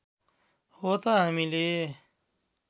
हो त हामीले